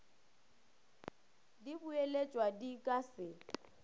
di boeletšwa di ka se